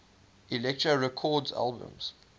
elektra records albums